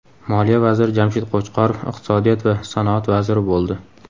Moliya vaziri Jamshid Qo‘chqorov iqtisodiyot va sanoat vaziri bo‘ldi .